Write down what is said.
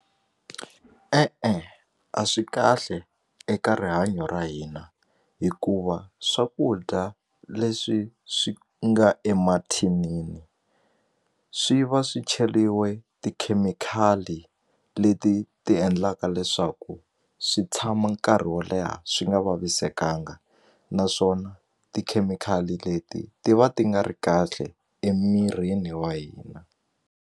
E-e a swi kahle eka rihanyo ra hina hikuva swakudya leswi swi nga emathinini swi va swi cheliwe tikhemikhali leti ti endlaka leswaku swi tshama nkarhi wo leha swi nga vavisekanga naswona tikhemikhali leti ti va ti nga ri kahle emirini wa hina.